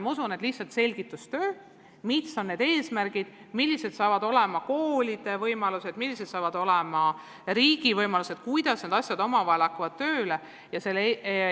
Ma usun, et vaja on lihtsalt selgitustööd, et mis on need eesmärgid, millised saavad olema koolide võimalused, millised saavad olema riigi võimalused ja kuidas need asjad omavahel tööle hakkavad.